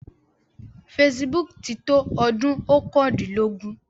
Facebook ti tó ọdún oókàndínlógún.